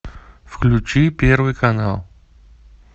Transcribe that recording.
включи первый канал